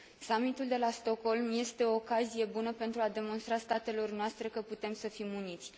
Summitul de la Stockholm este o ocazie bună pentru a demonstra statelor noastre că putem să fim uniți.